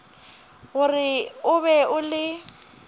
gore o be o le